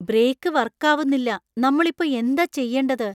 Brake വർക്കാവുന്നില്ല. നമ്മൾ ഇപ്പോ എന്താ ചെയ്യണ്ടത്?